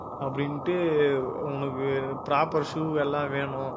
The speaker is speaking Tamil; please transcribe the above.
அப்படின்ட்டு உனக்கு proper shoe எல்லாம் வேணும்